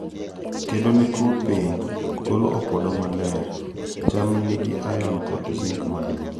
kedo ne twuo piny, golo opodo maler, cham ne nigi iron kod zink maduong.